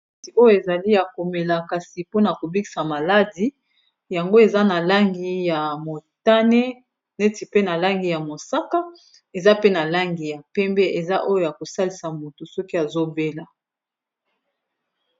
ati oyo ezali ya komela kasi mpona kobikisa maladi yango eza na langi ya motane neti pe na langi ya mosaka eza pe na langi ya pembe eza oyo ya kosalisa moto soki azobela